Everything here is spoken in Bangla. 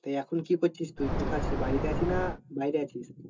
তা এখন কি করছিস তুই? কোথায় আছিস? বাড়িতে আছিস না বাইরে আছিস?